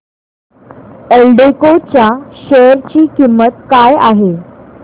एल्डेको च्या शेअर ची किंमत काय आहे